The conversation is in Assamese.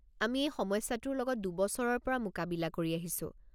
আমি এই সমস্যাটোৰ লগত দুবছৰৰ পৰা মোকাবিলা কৰি আহিছো।